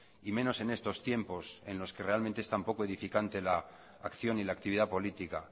y menos en estos tiempos en los que realmente es tan poco edificante la acción y la actividad política